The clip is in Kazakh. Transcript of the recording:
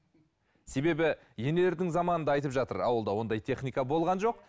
себебі енелердің заманында айтып жатыр ауылда ондай техника болған жоқ